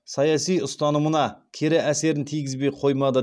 саяси ұстанымына кері әсерін тигізбей қоймады